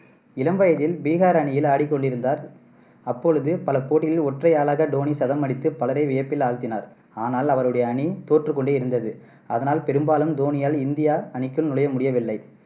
இளம் வயதில் பீகார் அணியில் ஆடிக்கொண்டு இருந்தார். அப்பொழுது பல போட்டிகளில் ஒற்றை ஆளாக தோனி சதம் அடித்து பலரை வியப்பில் ஆழ்த்தினார். ஆனால் அவருடைய அணி தோற்றுக்கொண்டு இருந்தது. அதனால் பெரும்பாலும் தோனியால் இந்தியா அணிக்குள் நுழைய முடியவில்லை.